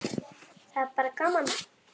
Það er bara gaman.